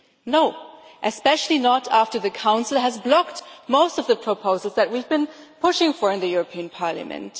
No, especially not after the Council has blocked most of the proposals that we have been pushing for in the European Parliament.